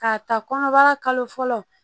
K'a ta kɔnɔbara kalo fɔlɔ